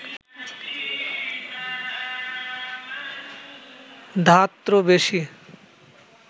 ধাত্র বেশী